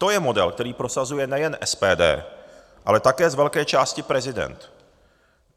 To je model, který prosazuje nejen SPD, ale také z velké části prezident.